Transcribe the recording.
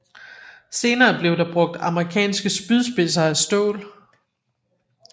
Senere blev der brugt amerikanske spydspidser af stål